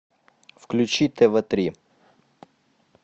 включи тв три